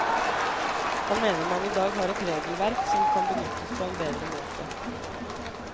Han mener man i dag har et regelverk som kan benyttes på en bedre måte.